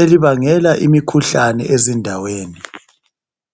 elibangela imikhuhlane ezindaweni.